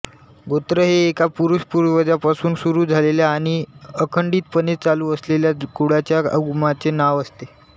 गोत्र हे एका पुरुषपूर्वजापासून सुरू झालेल्या आणि अखंडितपणे चालू असलेल्या कुळाच्या उगमाचे नाव असते